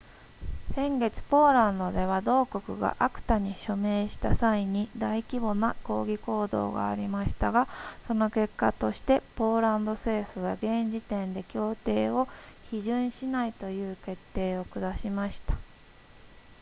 先月ポーランドでは同国が acta に署名した際に大規模な抗議行動がありましたがその結果としてポーランド政府は現時点で協定を批准しないという決定を下しました